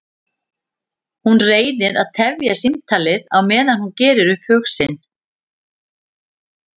Hún reynir að tefja símtalið á meðan hún gerir upp hug sinn.